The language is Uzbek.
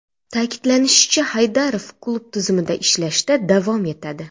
Ta’kidlanishicha, Haydarov klub tizimida ishlashda davom etadi.